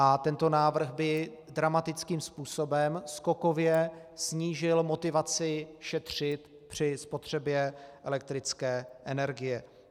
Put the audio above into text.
A tento návrh by dramatickým způsobem skokově snížil motivaci šetřit při spotřebě elektrické energie.